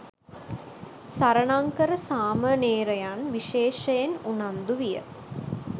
සරණංකර සාමණේරයන් විශේෂයෙන් උනන්දු විය.